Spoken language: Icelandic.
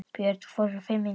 Björn Thors: Í fimm tíma?